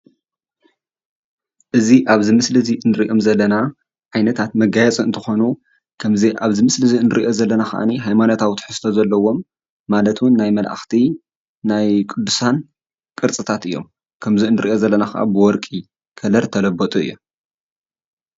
እዚ ኣብዚ ምስሊ እዚ እንሪኦም ዘለና ዓይነታት መጋየፂ እንትኮኑ ክምዚ ኣብዚ ምስሊ እንሪኦ ዘለና ከዓ ሃይማኖታዊ ትሕዝቶ ዘለዎም ማለት እውን ናይ መላእክቲ ናይ ቁዱሳን ቅርፅታት እዮም፡፡ ከምዚ እንሪኦ ዘለና ከዓ ብወርቂ ከለር እተለበጡ እዩም፡፡